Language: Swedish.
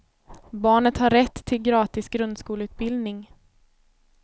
Barnet har rätt till gratis grundskoleutbildning.